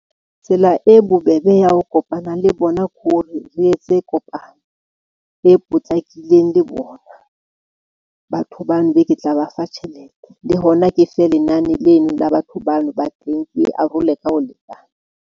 Tsela e bobebe ya ho kopana le bona ko re, re etse kopano e potlakileng le bona. Batho bano be ke tla ba fa tjhelete, le hona ke fe lenane leno la batho bano ba teng, ke arole ka ho lekana.